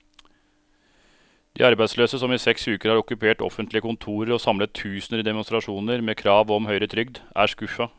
De arbeidsløse, som i seks uker har okkupert offentlige kontorer og samlet tusener i demonstrasjoner med krav om høyere trygd, er skuffet.